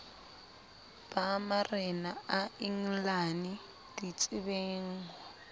ba marena a engelane ditsebengho